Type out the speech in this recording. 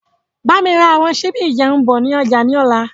Bámi ra àwọn sibi ìjẹun bọ̀ ni ọjà ni ọ̀la.